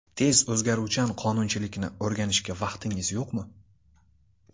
Tez o‘zgaruvchan qonunchilikni o‘rganishga vaqtingiz yo‘qmi?